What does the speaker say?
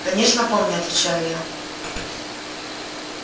конечно помню отвечаю я